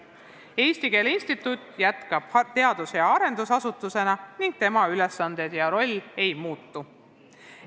Eesti Keele Instituut jätkab teadus- ja arendusasutusena ning tema ülesanded ja roll ei muutu.